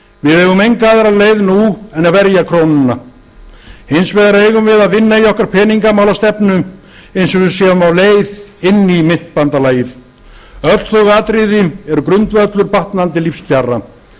við eigum enga aðra leið nú en að verja krónuna hins vegar eigum við að vinna í okkar peningamálastefnu eins og við séum á leið inn í myntbandalagið öll þau atriði eru grundvöllur batnandi lífskjara